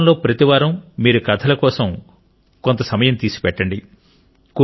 కుటుంబంలో ప్రతి వారం మీరు కథల కోసం కొంత కాలం తీసిపెట్టండి